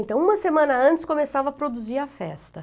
Então, uma semana antes, começava a produzir a festa.